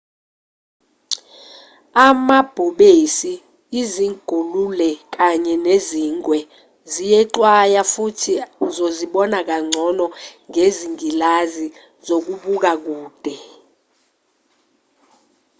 amabhubesi izingulule kanye nezingwe ziyexwaya futhi uzozibona kangcono ngezingilazi zokubuka kude